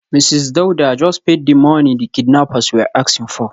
Mrs Dauda just paid the money the kidnappers were asking for.